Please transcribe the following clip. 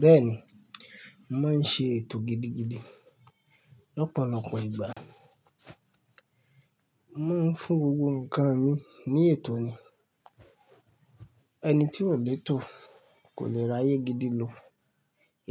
Bẹ́ẹ̀ni, mo màá ń ṣe ètò gidigidi lọ́pọ̀lọpọ̀ ìgbà. Màá ń fún gbogbo nǹkan mi ní ètò ni. Ẹni tí kò lé ètò kò lè ra ayé gidi lo.